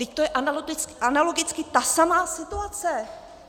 Vždyť to je analogicky ta samá situace!